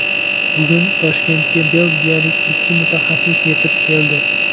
Bugun Toshkentga belgiyalik ikki mutaxassis yetib keldi.